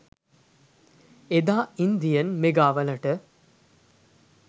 එදා ඉන්දියන් මෙගාවලට